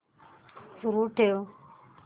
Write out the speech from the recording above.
सुरू ठेव